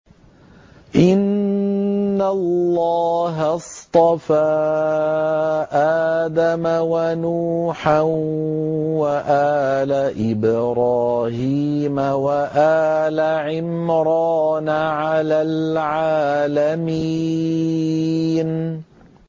۞ إِنَّ اللَّهَ اصْطَفَىٰ آدَمَ وَنُوحًا وَآلَ إِبْرَاهِيمَ وَآلَ عِمْرَانَ عَلَى الْعَالَمِينَ